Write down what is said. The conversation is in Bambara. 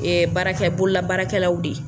Ee baarakɛla, bolola baarakɛlaw de ye.